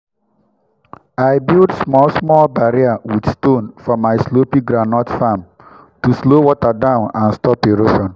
i build small small barrier with stone for my slopy groundnut farm to slow water down and stop erosion.